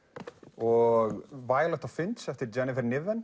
og Finch eftir Jennifer